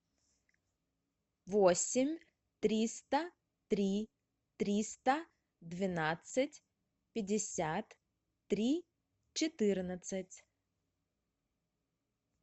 восемь триста три триста двенадцать пятьдесят три четырнадцать